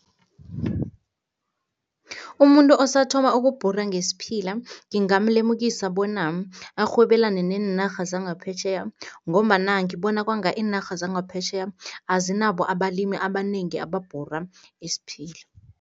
Umuntu osathoma ukubhura ngesiphila ngingamlemukisa bona arhwebelane neenarha zangaphetjheya ngombana ngibona kwanga iinarha zangaphetjheya, azinabo abalimi abanengi ababhura isiphila.